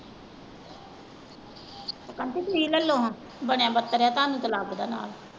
Aunty ਤੁਸੀਂ ਲਲੋ ਹਾਂ ਬਣਿਆ ਬੱਤਰਿਆ ਤੁਹਾਨੂੰ ਤੇ ਲਗਦਾ ਨਾਲ।